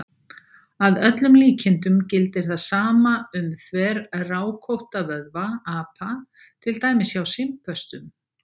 Að öllum líkindum gildir það sama um þverrákótta vöðva apa, til dæmis hjá simpönsum.